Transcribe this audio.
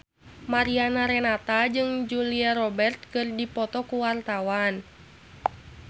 Mariana Renata jeung Julia Robert keur dipoto ku wartawan